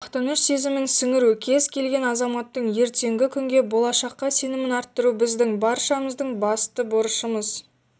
мақтаныш сезімін сіңіру кез келген азаматтың ертеңгі күнге болашаққа сенімін арттыру біздің баршамыздың басты борышымыз